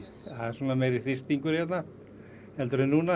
það er svona meiri hristingur hérna heldur en núna